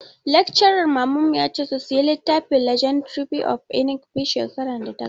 Laccaran mamana ya ce su saya littafin 'legendary of Inigɓi' shekarar da ta gabata